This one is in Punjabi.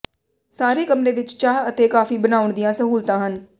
ਸਾਰੇ ਕਮਰੇ ਵਿੱਚ ਚਾਹ ਅਤੇ ਕਾਫੀ ਬਣਾਉਣ ਦੀਆਂ ਸਹੂਲਤਾਂ ਹਨ